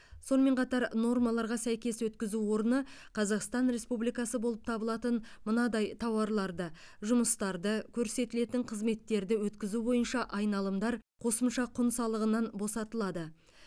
сонымен жаңа нормаларға сәйкес өткізу орны қазақстан республикасы болып табылатын мынадай тауарларды жұмыстарды көрсетілетін қызметтерді өткізу бойынша айналымдар қосымша құн салығынан босатылады